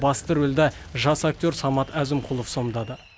бас рөлді жас актер самат әзімқұлов сомдады